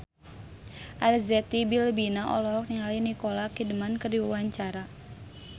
Arzetti Bilbina olohok ningali Nicole Kidman keur diwawancara